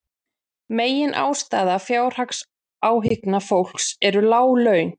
Meginástæða fjárhagsáhyggna fólks eru lág laun